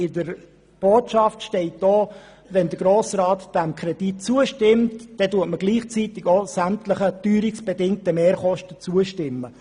In der Botschaft steht, wenn der Grosse Rat diesem Kredit zustimme, würde damit zugleich sämtlichen teuerungsbedingten Mehrkosten zugestimmt.